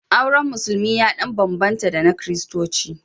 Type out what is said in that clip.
Auren Musulmi ya ɗan bambanta da na Kiristanci.